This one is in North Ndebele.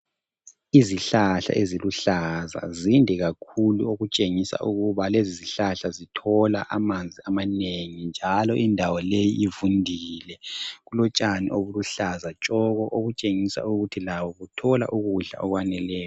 Izihlahla eziluhlaza zinde kakhulu okutshengisa ukuba lezizihlahla zithola amanzi amanengi njalo indawo leyi ivundile kulotshani obuluhlaza tshoko okutshengisa ukuthi labo kuthola ukudla okwaneleyo.